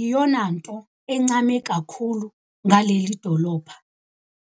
yiyonanto egqame kakhulu ngaleli dolobha.